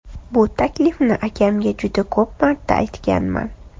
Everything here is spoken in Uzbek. Bu taklifni akamga juda ko‘p marta aytganman.